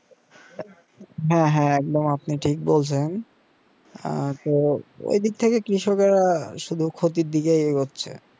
হ্যাঁ হ্যাঁ একদম আপনি ঠিক বলেছেন আহ তো এই দিক থেকে কৃষকরা শুধু ক্ষতির দিকে এগোচ্ছে